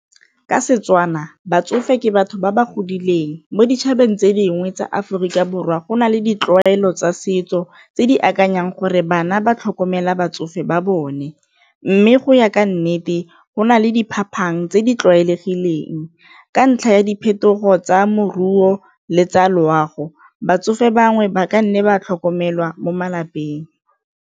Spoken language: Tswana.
Ka Setswana batsofe ke batho ba ba godileng mo ditšhabeng tse dingwe tsa Aforika Borwa go na le ditlwaelo tsa setso tse di akanyang gore bana ba tlhokomela batsofe ba bone, mme go ya ka nnete go na le diphapang tse di tlwaelegileng ka ntlha ya diphetogo tsa moruo le tsa loago, batsofe bangwe ba ka nne ba tlhokomelwa mo malapeng.